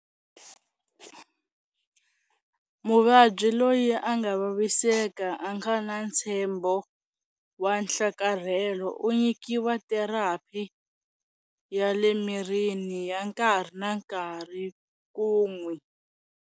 Muvabyi loyi a nga vaviseka a nga na ntshembo wa nhlakarhelo u nyikiwa therapi ya le mirini ya nkarhi na nkarhi ku n'wi.